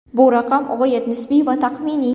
Bu raqam g‘oyat nisbiy va taxminiy.